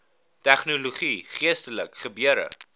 tegnologie geestelike gebeure